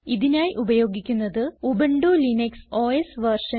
ഇതിനായി ഉപയോഗിക്കുന്നത് Ubuntu Linux OS version